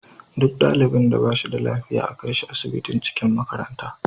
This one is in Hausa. Duk ɗalibin da bashi da lafiya a kaishi asibitin cikin makaranta